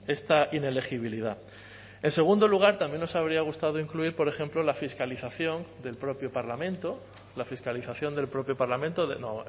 esta inelegibilidad en segundo lugar también nos habría gustado incluir por ejemplo la fiscalización del propio parlamento la fiscalización del propio parlamento de no